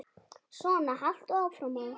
Svona haltu áfram, maður!